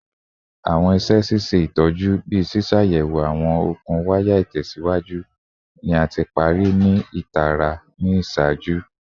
Awọn iṣẹ ṣiṣe itọju, bii ṣiṣayẹwo awọn okun waya itẹsiwaju, ni a ti pari ni itara ni iṣaaju